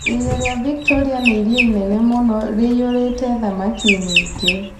Iria rĩa Victoria nĩ iria rĩnene mũno rĩiyũrĩte thamaki nyingĩ.